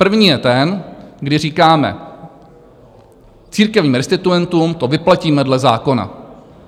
První je ten, kdy říkáme církevním restituentům: to vyplatíme dle zákona.